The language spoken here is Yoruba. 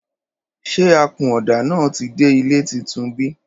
Ṣẹ àkúnòdá nà tí dẹ ìlẹ́ titún bí?